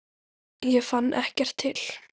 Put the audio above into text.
Ég fann ekkert til.